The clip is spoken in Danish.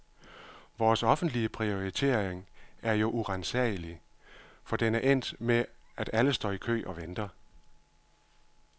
Vores offentlige prioritering er jo uransagelig, for den er endt med at alle står i kø og venter.